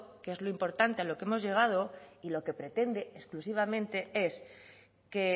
que es lo importante a lo que hemos llegado y lo que pretende exclusivamente es que